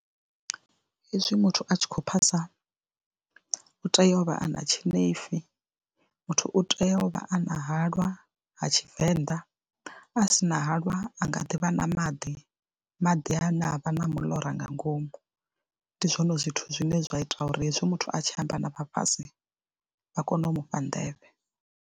Hezwi muthu a tshi khou phasa u tea u vha a na tshinefu, muthu u tea u vha a na halwa ha Tshivenḓa a s ina halwa a nga ḓi vha na maḓi, maḓi ane a vha na muḽora nga ngomu, ndi zwone zwithu zwine zwa ita uri hezwi muthu a tshi amba na vhafhasi vha kone u mufha nḓevhe.